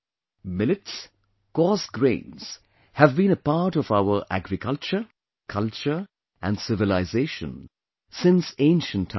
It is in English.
Millets, coarse grains, have been a part of our Agriculture, Culture and Civilization since ancient times